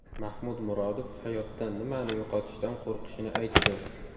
Mahmud Murodov hayotda nimani yo‘qotishdan qo‘rqishini aytdi.